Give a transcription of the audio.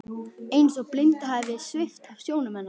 Eins og blindu hafi verið svipt af sjónum hennar.